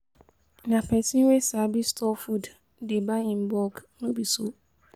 Na pesin wey sabi store food dey buy in bulk, no be so?